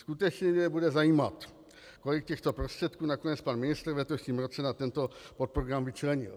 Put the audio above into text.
Skutečně mě bude zajímat, kolik těchto prostředků nakonec pan ministr v letošním roce na tento podprogram vyčlenil.